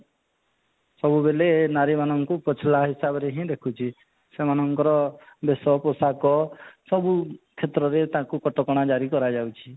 ସବୁବେଲେ ନାରୀ ମାନଙ୍କୁ ପଛଲା ହିସାବରେ ହିଁ ଦେଖୁଛି ସେମାନଙ୍କର ବେଶ ପୋଷାକ ସବୁ କ୍ଷେତ୍ରରେ ତାଙ୍କୁ କଟକଣା ଜାରି କରାଯାଉଛି